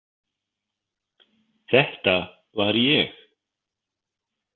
Þetta var ég.